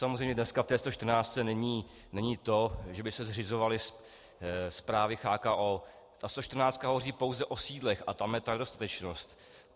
Samozřejmě dneska v té 114 není to, že by se zřizovaly správy CHKO, ta 114 hovoří pouze o sídlech a tam je ta nedostatečnost.